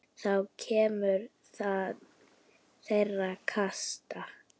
Þá kemur til þeirra kasta.